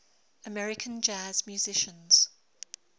american jazz musicians